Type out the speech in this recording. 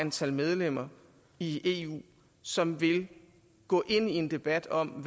antal medlemmer i eu som vil gå ind i en debat om